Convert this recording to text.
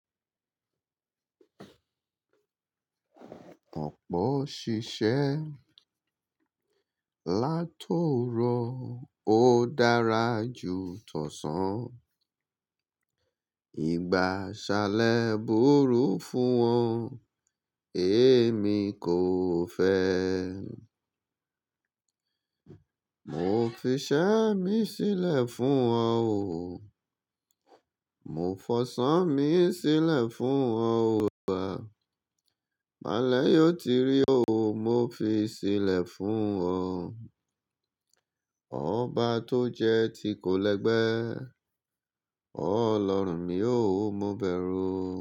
Ọ̀pọ̀ ṣiṣẹ́ látòrò ó dára ju tọ̀san. Ìgbá aṣálẹ búru fún wọn, èmi kò fẹ́. Mo fi iṣẹ́ mi sílẹ̀ fún wọn o, mo fọṣan mi sílẹ̀ fún wọn o, bàbá. Bale yio ti rí o, mo fi sílẹ̀ fún wọn. Ọ̀ba tó jẹ ti kò lẹgbẹ́, ọ lọrùn ní o, mo bẹ̀rù.